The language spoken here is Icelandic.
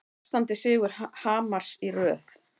Sextándi sigur Hamars í röð